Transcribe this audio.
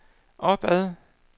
opad